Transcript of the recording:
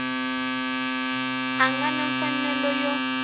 a nga na mfanelo yo